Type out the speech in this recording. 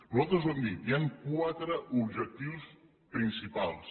nosaltres ho hem dit hi han quatre objectius principals